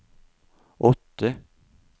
åtte